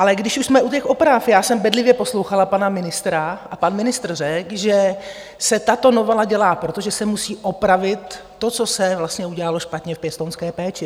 Ale když už jsme u těch oprav, já jsem bedlivě poslouchala pana ministra a pan ministr řekl, že se tato novela dělá, protože se musí opravit to, co se vlastně udělalo špatně v pěstounské péči.